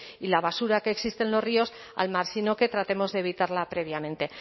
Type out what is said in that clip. y la basura que existe en los ríos al mar sino que tratemos de evitarla previamente